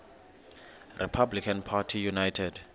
republican party united